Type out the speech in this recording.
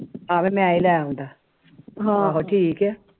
ਹਾਵੀ ਮੈ ਹੀ ਲੈ ਆਂਦਾ ਬਾ ਫਿਰ ਠੀਕ ਐ